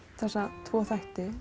þessa tvo þætti